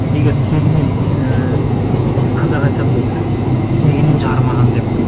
егер тегінен ііі қазақ айтады ғой сөзінде тегінен жарымаған деп